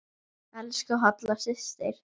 Elsku Halla systir.